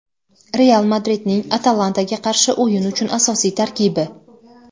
"Real" Madridning "Atalanta"ga qarshi o‘yin uchun asosiy tarkibi.